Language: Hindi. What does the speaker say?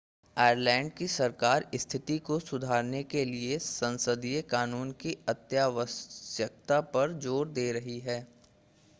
आयरलैंड की सरकार स्थिति को सुधारने के लिए संसदीय कानून की अत्यावश्यकता पर जोर दे रही है